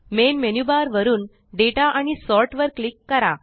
main menu bar वरुन data आणि sort वर क्लिक करा